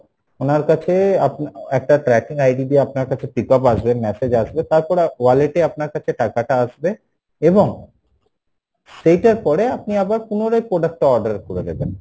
উনার কাছে আপনি একটা tracking ID দিয়ে আপনার কাছে pickup আসবে message আসবে তারপরে wallet এ আপনার কাছে টাকাটা আসবে then সেইটার পরে আপনি আবার পুনরায় একটা order করে দেবেন